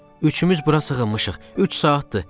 Üçümüz bura sığınmışıq, üç saatdır.